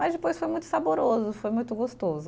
Mas depois foi muito saboroso, foi muito gostoso.